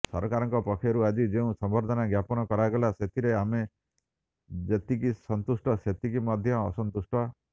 ସରକାରଙ୍କ ପକ୍ଷରୁ ଆଜି ଯେଉଁ ସମ୍ବର୍ଦ୍ଧନା ଜ୍ଞାପନ କରାଗଲା ସେଥିରେ ଆମେ ଯେତିକି ସନ୍ତୁଷ୍ଟ ସେତିକି ମଧ୍ୟ ଅସନ୍ତୁଷ୍ଟ